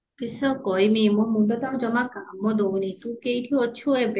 କିସ କହିବି ମୋ ମୁଣ୍ଡ ତ ଆଉ ଜମା କାମ ଦଉନି ତୁ କେଇଠି ଅଛୁ ଏବେ